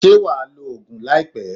Ṣé wà á lo oògùn láìpé?